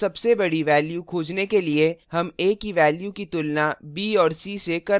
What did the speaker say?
यहाँ सबसे बड़ी values खोजने के लिए हम a की values की तुलना b और c से कर रहे हैं